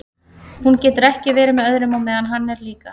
Hún getur ekki verið með öðrum á meðan hann er líka.